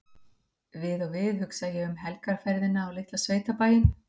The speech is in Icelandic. Við og við hugsa ég um helgarferðina á litla sveitabæinn